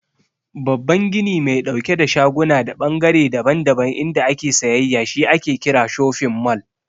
Babban gini mai ɗauke da shaguna da ɓangare daban-daban inda ake sayayya shi ake kira "shofin mall".